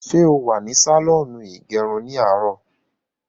Ṣé o wà ní sàlọ́ọ̀nù ìgẹrun ní àárò?